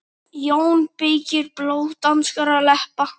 JÓN BEYKIR: Blóð danskra leppa!